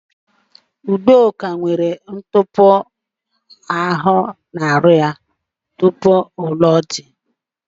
Udoka nwere nkpọpu anụ ahụ ya tupu ọ lụọ di.